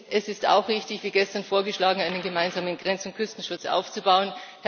Es ist auch richtig, wie gestern vorgeschlagen einen gemeinsamen Grenz und Küstenschutz aufzubauen.